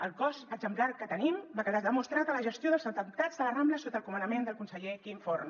el cos exemplar que tenim va quedar demostrat en la gestió dels atemptats de la rambla sota el comandament del conseller quim forn